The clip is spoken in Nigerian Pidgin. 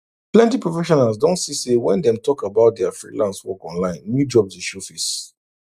plenty professionals don see say when dem talk about dia freelance work online new jobs dey show face